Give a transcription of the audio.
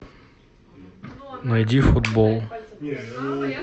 найди футбол